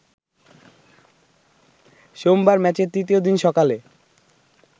সোমবার ম্যাচের তৃতীয় দিন সকালে